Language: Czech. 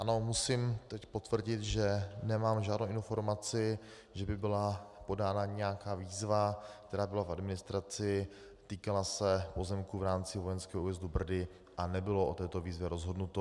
Ano, musím teď potvrdit, že nemám žádnou informaci, že by byla podána nějaká výzva, která byla v administraci, týkala se pozemku v rámci Vojenského újezdu Brdy a nebylo o této výzvě rozhodnuto.